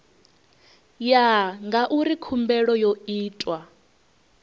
ya ngauri khumbelo yo itwa